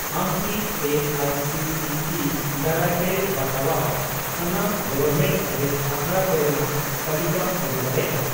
ᱟᱢ ᱠᱤ A I C T E ᱫᱟᱨᱟᱭᱛᱮ ᱵᱟᱛᱟᱣᱟᱜ ᱥᱟᱱᱟᱢ ᱜᱚᱵᱷᱢᱮᱱᱴᱼᱮᱰᱮᱰ ᱟᱥᱲᱟ ᱠᱚᱨᱮᱱᱟᱜ ᱛᱟᱞᱤᱠᱟᱢ ᱟᱹᱜᱩ ᱫᱟᱲᱮᱭᱟᱜᱼᱟ ?